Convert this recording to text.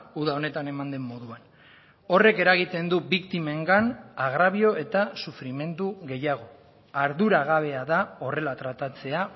uda honetan eman den moduan horrek eragiten du biktimengan agrabio eta sufrimendu gehiago arduragabea da horrela tratatzea